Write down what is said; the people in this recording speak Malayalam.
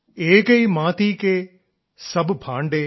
ഏകൈ മാതീ കേ സബ് ഭാംഡേ